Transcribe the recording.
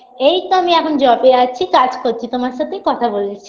এইতো আমি এখন job -এ আছি কাজ করছি তোমার সাথেই কথা বলছি